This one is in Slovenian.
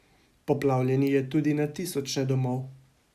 Poplavljeni je tudi na tisoče domov.